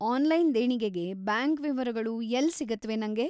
Online ದೇಣಿಗೆಗೆ bank ವಿವರಗಳು ಎಲ್ಲ್‌ ಸಿಗತ್ವೆ ನಂಗೆ?